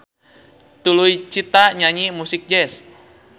Tuluy Cita nyanyi musik jazz.